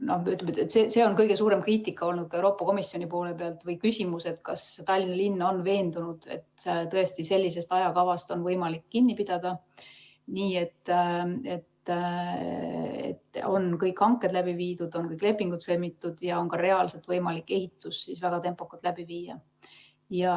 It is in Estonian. No ütleme, et ka Euroopa Komisjoni poole pealt on see kõige suurem kriitika või küsimus olnud, kas Tallinna linn on veendunud, et sellisest ajakavast on võimalik kinni pidada nii, et kõik hanked on läbi viidud, kõik lepingud on sõlmitud ja on ka reaalselt võimalik ehitus väga tempokalt läbi viia.